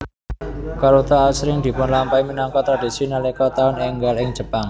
Karuta asring dipunlampahi minangka tradisi nalika taun énggal ing Jepang